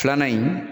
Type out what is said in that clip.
Filanan in